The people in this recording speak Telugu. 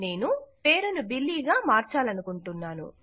నేను పేరును బిల్లీ గా మార్చాలనుకుంటున్నాను